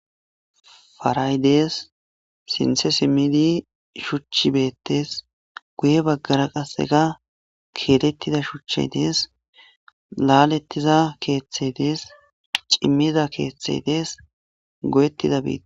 Paray dees sintje simidi shuci beetes guye bagara qaseka keletida shuchi dees laletiza keethi dees cimiza keethi dees goyetida bittay dees.